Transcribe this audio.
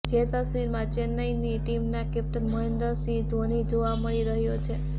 જે તસ્વીરમાં ચેન્નાઇ ની ટીમના કેપ્ટન મહેન્દ્ર સિંહ ધોની જોવા મળી રહ્યો છે